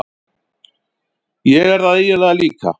Ég er það eiginlega líka.